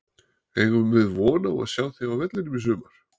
Eigum við von á að sjá þig á vellinum í sumar?